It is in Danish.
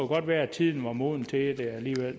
godt være at tiden var moden til det alligevel